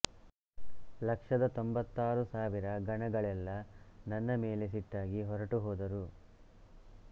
ಲಕ್ಷದ ತೊಂಬತ್ತಾರು ಸಾವಿರ ಗಣಗಳೆಲ್ಲ ನನ್ನ ಮೇಲೆ ಸಿಟ್ಟಾಗಿ ಹೊರಟು ಹೋದರು